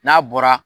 N'a bɔra